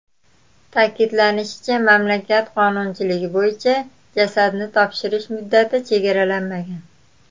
Ta’kidlanishicha, mamlakat qonunchiligi bo‘yicha, jasadni topshirish muddati chegaralanmagan.